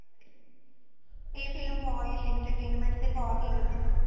ਇਹ film ਬਹੁਤ ਹੀ entertainment ਤੇ ਬਹੁਤ ਹੀ ਵਧੀਆ